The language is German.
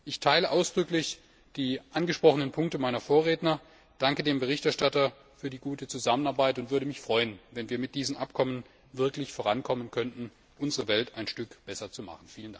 Ich teile ausdrücklich die angesprochenen Punkte meiner Vorredner, danke dem Berichterstatter für die gute Zusammenarbeit und würde mich freuen, wenn wir mit diesen Abkommen wirklich vorankommen könnten, um unsere Welt ein Stück besser zu machen.